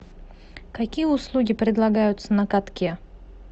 какие услуги предлагаются на катке